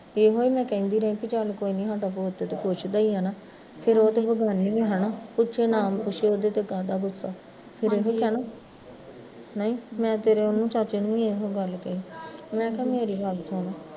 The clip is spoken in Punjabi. ਤੇ ਇਹੋ ਮੈਂ ਕਹਿੰਦੀ ਰਹਿ ਵੀ ਚੱਲ ਕੋਈ ਨੀ ਸਾਡਾ ਪੁੱਤ ਤੇ ਪੁੱਛਦਾ ਈ ਐ ਨਾ, ਫਿਰ ਉਹ ਤੇ ਬੇਗਾਨੀ ਆ ਹੈਨਾ, ਪੁੱਛੇ ਨਾ ਪੁੱਛੇ ਉਹਦੇ ਤੇ ਕਾਹਦਾ ਗੁੱਸਾ ਨਹੀਂ ਮੈਂ ਤੇਰੇ ਉਹਨੂੰ ਚਾਚੇ ਨੂੰ ਵੀ ਇਹੋ ਗੱਲ ਕਹੀਂ ਮੈਂ ਕਿਹਾ ਮੇਰੀ ਗੱਲ ਸੁਣ